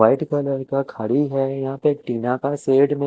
white colour का खड़ी है यहा पे टीना का सेड में--